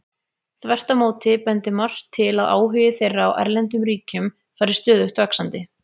Þvert á móti bendir margt til að áhugi þeirra á erlendum ríkjum fari stöðugt vaxandi.